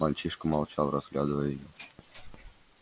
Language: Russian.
мальчишка молчал разглядывая её